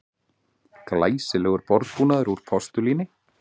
Glæsilegur borðbúnaður úr postulíni